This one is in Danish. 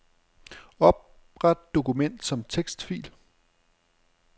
Opret dokument som tekstfil.